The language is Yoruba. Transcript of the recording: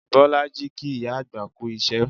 Bisola kí ìyá àgbà kú iṣẹ́